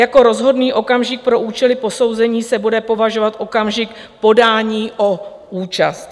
Jako rozhodný okamžik pro účely posouzení se bude považovat okamžik podání o účast.